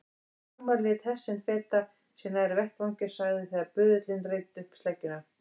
Lögmaður lét hest sinn feta sig nær vettvangi og sagði þegar böðullinn reiddi upp sleggjuna